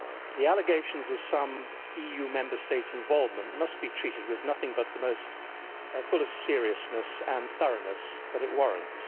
The allegations of some Member States' involvement must be treated with nothing but the fullest seriousness and thoroughness that it warrants.